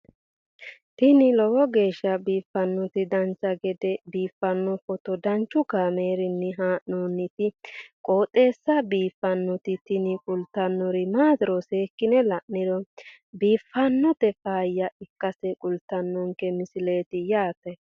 tini lowo geeshsha biiffannoti dancha gede biiffanno footo danchu kaameerinni haa'noonniti qooxeessa biiffannoti tini kultannori maatiro seekkine la'niro biiffannota faayya ikkase kultannoke misileeti yaate